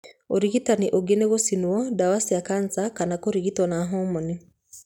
Ũrigitani ũngĩ nĩ gũcinwo, ndawa cia kanca kana kũrigitwo na homoni.